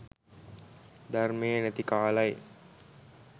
ධර්මය නැති කාලයි